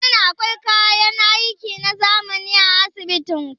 Shin akwai kayan aiki na zamani a asibitin ku?